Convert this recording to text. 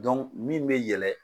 min bɛ yɛlɛ